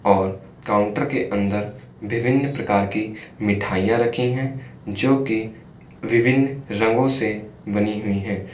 और काउंटर के अंदर विभिन्न प्रकार की मिठाइयां रखी हैं जो की विभिन्न रंगों से बनी हुई है।